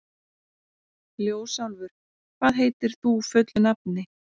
Ljósálfur, hvað heitir þú fullu nafni?